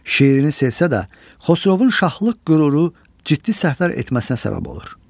Şirini sevsə də, Xosrovun şahlıq qüruru ciddi səhvlər etməsinə səbəb olur.